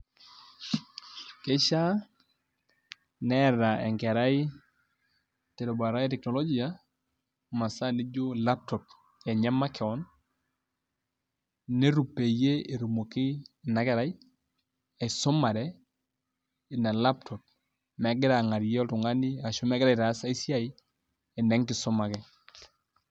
Kishaa neeta enkerai terubata e teknolojia, masaa nijo laptop enye makeon, netum peyie etumoki inakerai aisumare ina laptop megira ang'arie oltung'ani ashu megira aitaas ai siai, ene nkisuma ake.